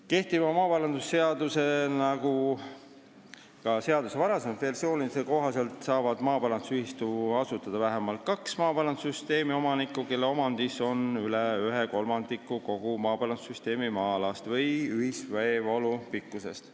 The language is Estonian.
Kehtiva maaparandusseaduse kohaselt – ja nii oli see ka seaduse varasemates versioonides – saavad maaparandusühistu asutada vähemalt kaks maaparandussüsteemi omanikku, kelle omandis on üle ühe kolmandiku kogu maaparandussüsteemi maa-alast või ühiseesvoolu pikkusest.